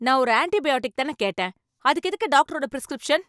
நான் ஒரு ஆன்டிபயாட்டிக் தானே கேட்டேன், அதுக்கு எதுக்கு டாக்டரோட பிரிஸ்கிரிப்ஷன்?